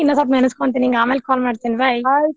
ಇನ್ನೋಂಸ್ವಪ ನೆನಸ್ಕೊಂತೀನಿ ನಿಂಗ್ ಆಮೇಲ್ call ಮಾಡ್ತೇನಿ bye .